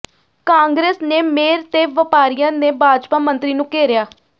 ਕਾਂਗਰਸ ਨੇ ਮੇਅਰ ਤੇ ਵਪਾਰੀਆਂ ਨੇ ਭਾਜਪਾ ਮੰਤਰੀ ਨੂੰ ਘੇਰਿਆ